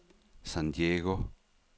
San Diego